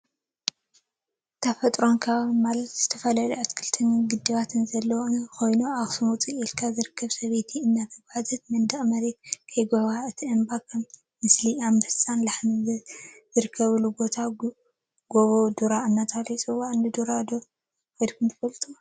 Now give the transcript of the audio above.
ተፈጥሮን አከባቢን ተፈጥሮን አከባቢን ማለት ዝተፈላለየ አትክልትን ግድባትን ዘለዎም እንትኮኑ፤ አክሱም ውፅእ ኢልካ ዝርከብ ሰበይቲ እናተጓዓዘትን መንድቅ መሬት ከይጉሕጓሕ እቲ እምባ ከዓ ምስሊ አንበሳን ላሕሚን ዝርከበሉ ቦታ ጎቦ ዱራ እናተብሃለ ይፅዋዕ፡፡ ንጎቦ ዱራ ከይድኩም ዶ ትፈልጡ?